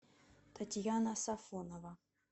татьяна сафонова